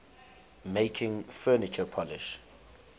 making furniture polish